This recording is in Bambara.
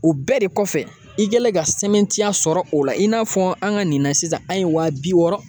O bɛɛ de kɔfɛ i kɛlen ka sɛbɛntiya sɔrɔ o la i n'a fɔ an ka nin na sisan an ye waa bi wɔɔrɔ